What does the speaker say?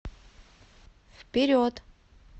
вперед